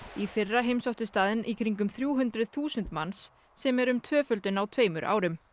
í fyrra heimsóttu staðinn í kringum þrjú hundruð þúsund manns sem er um tvöföldun á tveimur árum